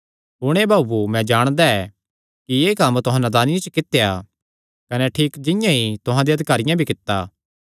हुण हे भाऊओ मैं जाणदा ऐ कि एह़ कम्म तुहां नादानिया च कित्या कने ठीक जिंआं तुहां देयां अधिकारियां भी कित्ता